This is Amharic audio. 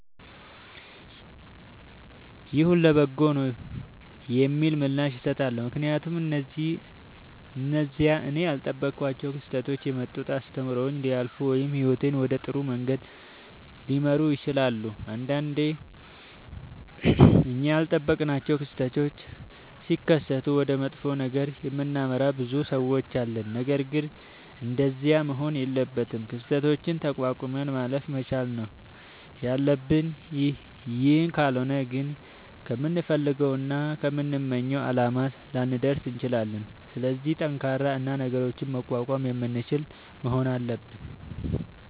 ይሁን ለበጎ ነዉ የሚል ምላሽ እሠጣለሁ። ምክንያቱም እነዚያ እኔ ያልጠበኳቸዉ ክስተቶች የመጡት አስተምረዉኝ ሊያልፉ ወይም ህይወቴን ወደ ጥሩ መንገድ ሊመሩት ይችላሉ። ንዳንዴ እኛ ያልጠበቅናቸዉ ክስተቶች ሢከሠቱ ወደ መጥፎ ነገር የምናመራ ብዙ ሠዎች አለን። ነገርግን እንደዚያ መሆን የለበትም። ክስተቶችን ተቋቁመን ማለፍ መቻል ነዉ ያለብን ይህ ካልሆነ ግን ከምንፈልገዉና ከምንመኘዉ አላማ ላንደርስ እንችላለን። ስለዚህ ጠንካራ እና ነገሮችን መቋቋም የምንችል መሆን አለብን።